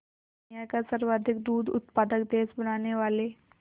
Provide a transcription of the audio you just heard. दुनिया का सर्वाधिक दूध उत्पादक देश बनाने वाले